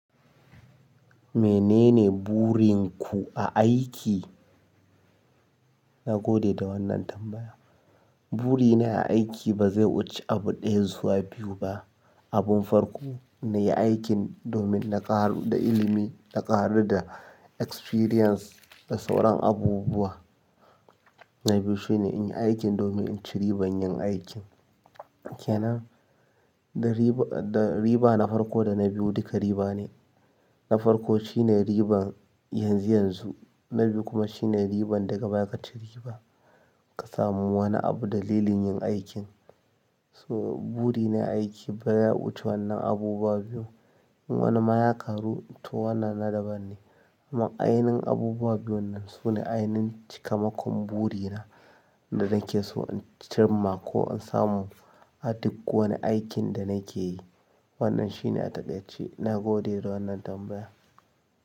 Menene burin ku a aiki? Na gode da wannan tambaya. Buri na a aiki ba zai wuce abu ɗaya zuwa biyu ba. Abun farko, na yi aikin domin na ƙaru da ilimi, na ƙaru da experience da sauran abubuwa. Na biyu shine in yi aikin domin in ci ribar yin aikin. Kenann? Da riba na farko da na biyu duka riba ne. Na farko shine riban yanzu yanzu, na biyu kuma shine riban daga baya ka ci riba ka samu wani abu dalilin yin aikin. To burina a aika baya wuche wannan abubuwan in wani mayaƙaru to wannan na daban ne. Amma ainihin abubuwa biyu nan sune ainihin cikamakon buri na da nake so in cimma ko in samu a duk wani aikin da nake yi. Wannan shine a takaiche ƙarshe. Na gode da wannan tambaya.